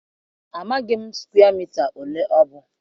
Amaghị m sụkwee mita ole ọ bụ